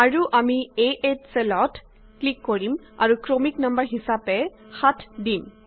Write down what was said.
আৰু আমি 8 চেলত ক্লিক কৰিম আৰু ক্ৰমিক নং হিচাপে 7 দিম